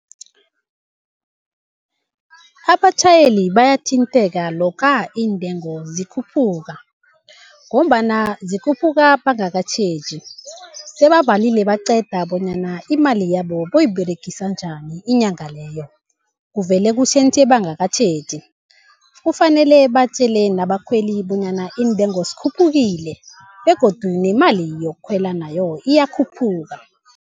Abatjhayeli bayathintheka lokha iintengo zikhuphuka, ngombana zikhuphuka bangakatjheji, sebabalile baqeda bonyana imali yabo bayoyiberegisa njani inyanga leyo. Kuvele kutjhentjhe bangakatjheji. Kufanele batjele nabakhweli bonyana iintengo zikhuphukile begodu nemali yokukhwela nayo iyakhuphuka.